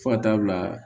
Fo ka taa bila